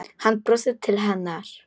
Hann brosir til hennar.